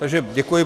Takže děkuji.